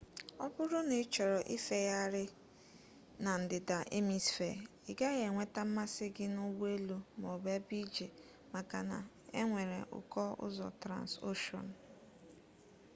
o buru na ichoro ifegheghari na ndida emisfee i gaghi enweta mmasi gi na ugbo elu ma o bu ebe ije maka na enwere uko uzo transocean